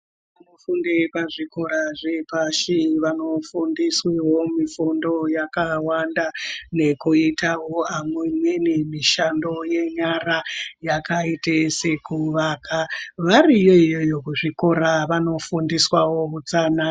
Vana vanofunde pazvikora zvepashi vanofundiswevo mifundo yakawanda. Nekuitavo amweni mishando yenyara yakaite sekuvaka variyo iyoyo kuzvikora vanofundiswa utsanana.